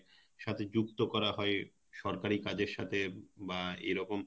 সাথে যুক্ত করা হয় সরকারি কাজের সাথে বা এরকম